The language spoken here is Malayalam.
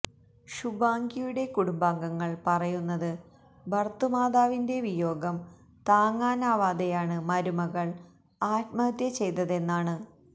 ഷുബാംഗിയുടെ കുടുബാംഗങ്ങള് പറയുന്നത് ഭര്തൃമാതാവിന്റെ വിയോഗം താങ്ങാനാവാതെയാണ് മരുമകള് ആത്മഹത്യ ചെയ്തതെന്നാണ്